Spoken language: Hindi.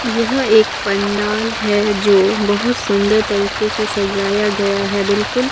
यह एक पंडाल है जो बहोत सुंदर तरीके से सजाया गया है बिल्कुल--